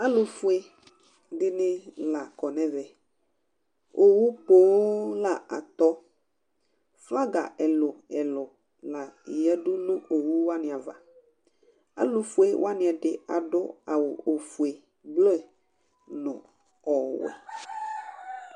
Alʋ fue dɩnɩ la kɔ nʋ ɛmɛOwu poo la atɔ; flaga ɛlʋɛlʋ la ƴǝ du nʋ owu wanɩ avaAlʋ fue wanɩ ɛdɩ adʋ awʋ ofue, blɔ nʋ ɔwɛ